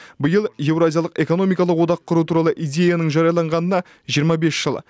биыл еуразиялық экономикалық одақ құру туралы идеяның жарияланғанына жиырма бес жыл